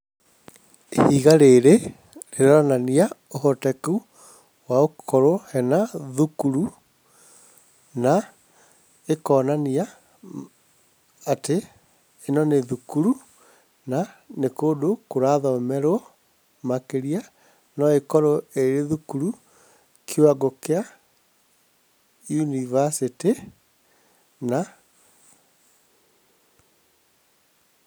Ihiga rĩrĩ rĩronania ũhoteku wa gũkorwo he na thukuru na ĩkonania atĩ, ĩno nĩ thukuru na nĩ kũndũ kũrathomerwo, makĩria no ĩkorwo ĩthukuru kĩwango kĩa yunibacĩtĩ na...